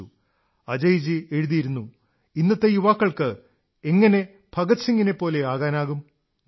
അജയ്ജി എഴുതുന്നു ഇന്നത്തെ യുവാക്കൾക്ക് എങ്ങനെ ഭഗത് സിംഗിനെപ്പോലെയാകാനാകും നോക്കൂ